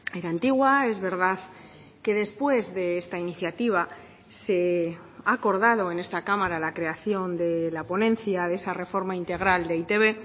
era antigua es verdad que después de esta iniciativa se ha acordado en esta cámara la creación de la ponencia de esa reforma integral de e i te be